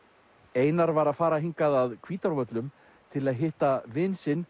einar var að fara hingað að Hvítárvöllum til að hitta vin sinn